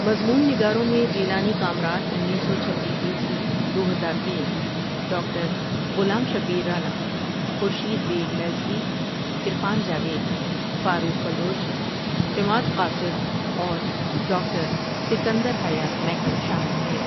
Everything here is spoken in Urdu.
مضمون نگاروں میں جیلانی کامران انیس سو چھبیس عیسوی دو ہزار تین، ڈاکٹر غلام شبیر رانا، خورشید بیگ میلسوی، عرفان جاوید، فاروق بلوچ، عماد قاصر اور ڈاکٹر سکندر حیات میکن شامل ہیں ۔